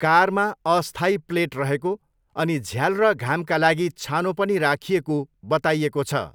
कारमा अस्थायी प्लेट रहेको अनि झ्याल र घामका लागि छानो पनि राखिएको बताइएको छ।